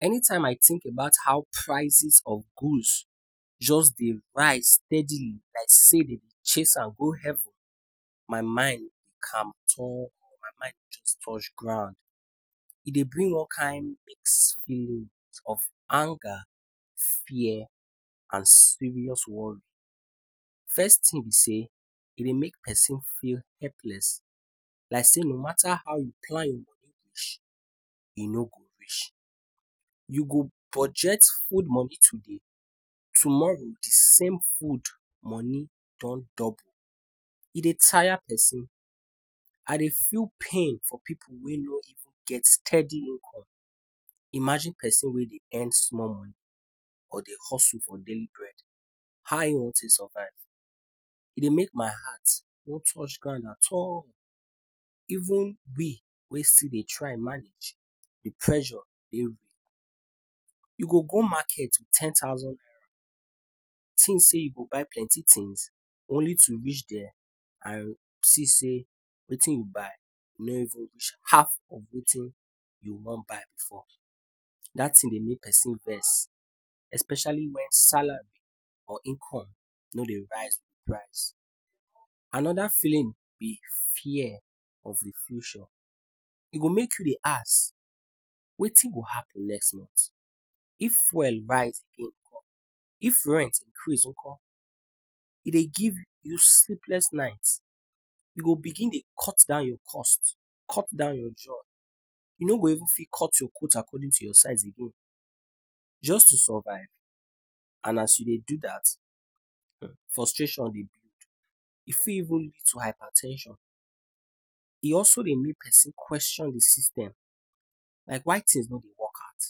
Anytime I think about how prices of good jus dey rise steadily like sey dem dey chase am go heaven my mind go just touch ground e dey bring all kind mixed feelings of anger, fear and serious worry. First thing b sey e dey make persin feel helpless, like sey no mata how u plan your money finish e no go reach, u go budget food money today, tomorrow dsame food money don double, e dey tire persin, I dey feel pain for pipu wey no get steady income, imagine persin wey earn small money or dey hustle for daily braed, how e wan take survive, e dey make my heart no touch ground at all even we wey still dey try manage d pressure dey real, u go go market with ten thousand naira, think sey u go buy plenty things only to reach there and see sey wetin u buy no even reach half of wetin u wan buy before, dat thing dey make persin vex, especially if salary or income no dey rise with price, anoda feeling b fear of inflation, e go dey make u dey ask wetin go happen next month, if feul dey rise again nko, if rent increase again nko, e dey give u sleepness night u go begin dey cut down your cost, cut down your joy, u no go fit cut your coat according to your size, just to survive and as u dey do dat frustration dey build e fit even lead to hyper ten sion e also dey make persin question hin system, like why things no dey work out?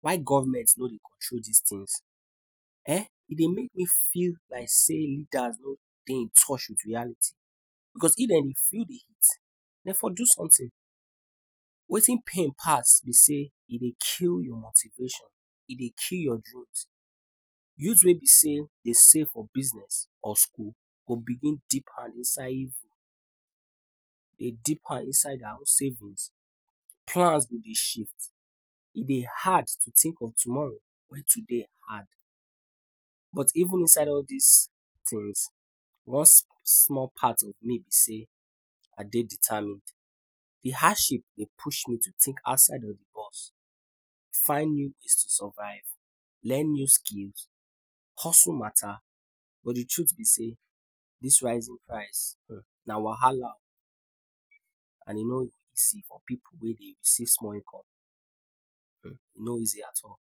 Why government no dey control dis things E dey make me feel like sey leader no dey in touch with reality because if dem dey feel d heat dem for do something, wetin pain pass b sey e dey kill your motivation e dey kill your dreams, dreams wey b sey for business or school go begin deep hand inside evil, dey deep hand inside savings plan go dey shift, e dey hard to think of tomorrow wen today hard. But inside all of dis things one small part of me b sey I dey determined d hardship push me to think outside d box, find way to survive, learn new skills hustle matter but d truth b sey dis rising price na wahala oh, and e no easy for pipu wey dey receive small income, e no easy at all.